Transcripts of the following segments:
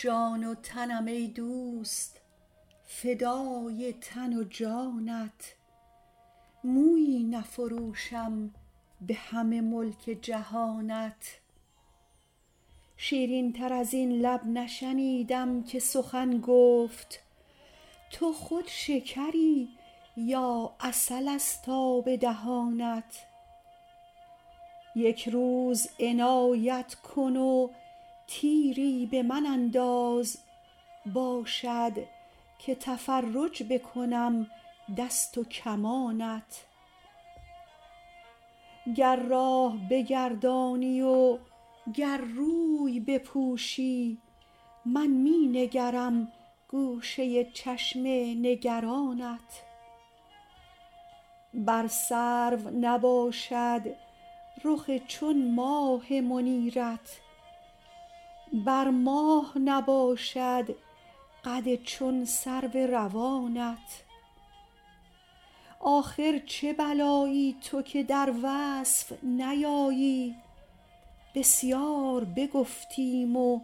جان و تنم ای دوست فدای تن و جانت مویی نفروشم به همه ملک جهانت شیرین تر از این لب نشنیدم که سخن گفت تو خود شکری یا عسل ست آب دهانت یک روز عنایت کن و تیری به من انداز باشد که تفرج بکنم دست و کمانت گر راه بگردانی و گر روی بپوشی من می نگرم گوشه چشم نگرانت بر سرو نباشد رخ چون ماه منیرت بر ماه نباشد قد چون سرو روانت آخر چه بلایی تو که در وصف نیایی بسیار بگفتیم و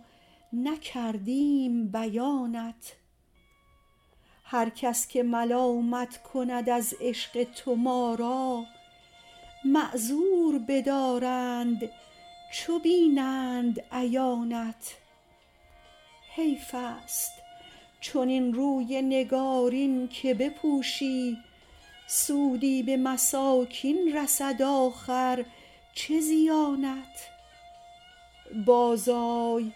نکردیم بیانت هر کس که ملامت کند از عشق تو ما را معذور بدارند چو بینند عیانت حیف ست چنین روی نگارین که بپوشی سودی به مساکین رسد آخر چه زیانت بازآی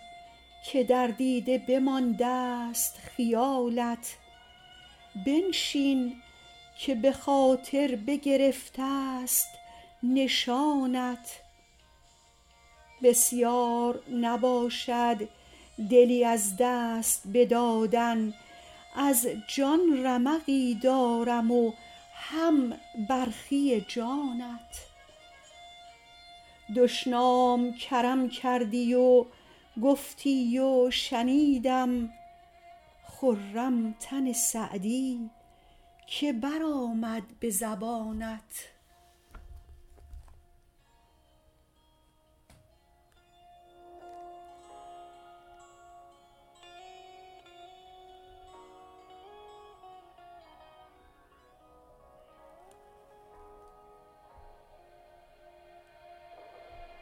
که در دیده بماندست خیالت بنشین که به خاطر بگرفت ست نشانت بسیار نباشد دلی از دست بدادن از جان رمقی دارم و هم برخی جانت دشنام کرم کردی و گفتی و شنیدم خرم تن سعدی که برآمد به زبانت